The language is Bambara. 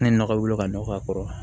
Ne nɔgɔ wolo ka nɔgɔ a kɔrɔ